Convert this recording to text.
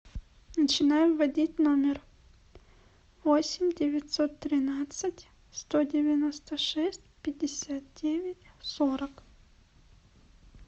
начинаем вводить номер восемь девятьсот тринадцать сто девяносто шесть пятьдесят девять сорок